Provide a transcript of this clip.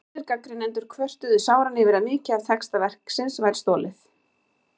Aðrir gagnrýnendur kvörtuðu sáran yfir að mikið af texta verksins væri stolið.